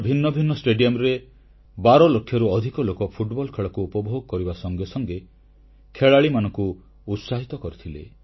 ଦେଶର ଭିନ୍ନଭିନ୍ନ ଷ୍ଟାଡ଼ିୟମରେ 12 ଲକ୍ଷରୁ ଅଧିକ ଲୋକ ଫୁଟବଲ ଖେଳକୁ ଉପଭୋଗ କରିବା ସଙ୍ଗେ ସଙ୍ଗେ ଖେଳାଳିମାନଙ୍କୁ ଉତ୍ସାହିତ କରିଥିଲେ